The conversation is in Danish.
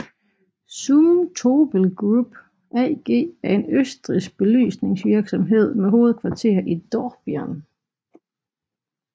Zumtobel Group AG er en østrigsk belysningsvirksomhed med hovedkvarter i Dornbirn